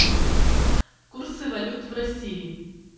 курсы валют в россии